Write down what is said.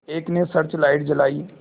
एक ने search light जलाई